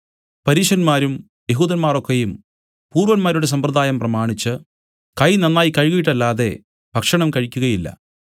പരീശന്മാരും യെഹൂദന്മാർ ഒക്കെയും പൂർവ്വന്മാരുടെ സമ്പ്രദായം പ്രമാണിച്ചു കൈ നന്നായി കഴുകിയിട്ടല്ലാതെ ഭക്ഷണം കഴിക്കുകയില്ല